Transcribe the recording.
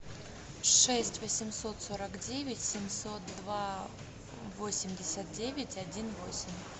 шесть восемьсот сорок девять семьсот два восемьдесят девять один восемь